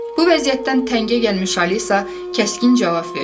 Bu vəziyyətdən təngə gəlmiş Alisa kəskin cavab verdi.